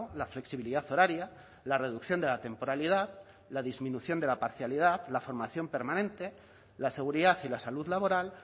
la flexibilidad horaria la reducción de la temporalidad la disminución de la parcialidad la formación permanente la seguridad y la salud laboral